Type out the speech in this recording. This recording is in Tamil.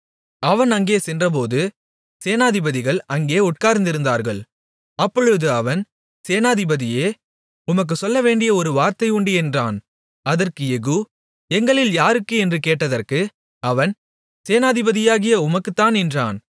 அவன் அங்கே சென்றபோது சேனாதிபதிகள் அங்கே உட்கார்ந்திருந்தார்கள் அப்பொழுது அவன் சேனாதிபதியே உமக்குச் சொல்லவேண்டிய ஒரு வார்த்தை உண்டு என்றான் அதற்கு யெகூ எங்களில் யாருக்கு என்று கேட்டதற்கு அவன் சேனாதிபதியாகிய உமக்குத்தான் என்றான்